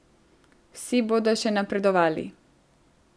Vsi bodo še napredovali.